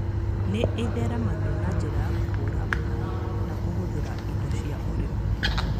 Nĩ ĩtheremagio na njĩra ya kũhũũra maĩ na kũhũthĩra indo cia ũrĩmi.